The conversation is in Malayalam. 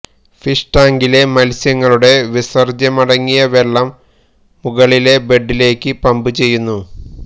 ഫിഷ് ടാങ്കിലെ മത്സ്യങ്ങളുടെ വിസര്ജ്യമടങ്ങിയ വെള്ളം മുകളിലെ ബെഡിലേക്ക് പമ്പ് ചെയ്യുന്നു